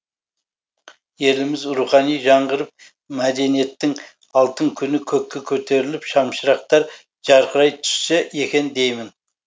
еліміз рухани жаңғырып мәдениеттің алтын күні көкке көтеріліп шамшырақтар жарқырай түссе екен деймін